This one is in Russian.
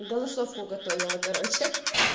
голосовку готовила короче